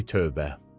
Ay tövbə!